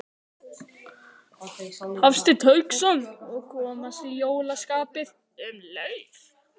Hafsteinn Hauksson: Og komast í jólaskapið um leið?